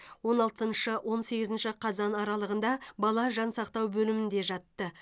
он алтыншы он сегізінші қазан аралығында бала жансақтау бөлімінде жатты